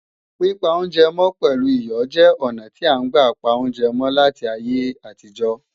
Pípa oúnjẹ mọ́ pẹ̀lú iyọ̀ jẹ́ ọnà tí à ń gbà pa oúnjẹ mọ́ láti ayé àtijọ́